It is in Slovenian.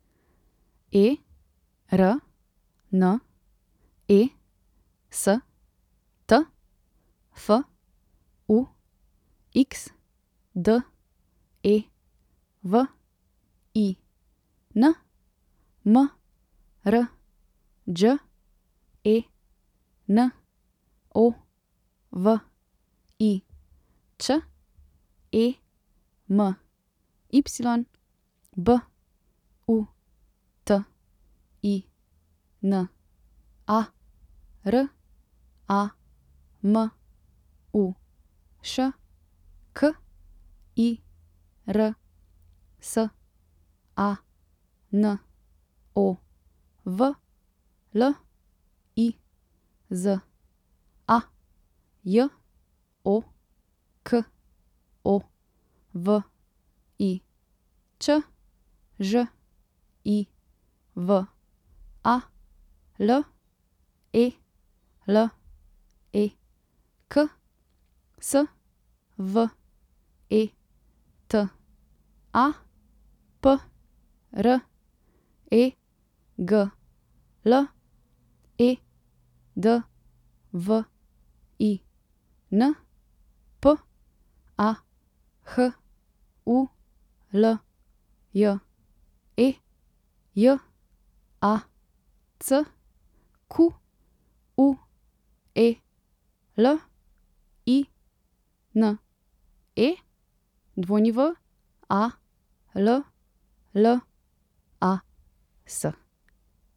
E R N E S T, F U X; D E V I N, M R Đ E N O V I Ć; E M Y, B U T I N A; R A M U Š, K I R S A N O V; L I Z A, J O K O V I Č; Ž I V A, L E L E K; S V E T A, P R E G L; E D V I N, P A H U L J E; J A C Q U E L I N E, W A L L A S.